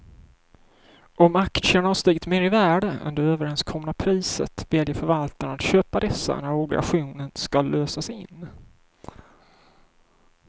Om aktierna har stigit mer i värde än det överenskomna priset väljer förvaltaren att köpa dessa när obligationen ska lösas in.